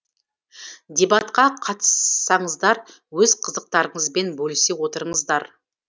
дебатқа қатыссаңыздар өз қызықтарыңызбен бөлісе отырыңыздар